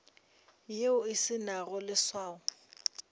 yeo e se nago leswao